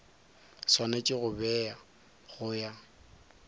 swanetše go bewa go ya